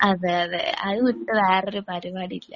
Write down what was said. അതെ അതെ അതു വിട്ട് വേറൊരു പരിപാടിയില്ല.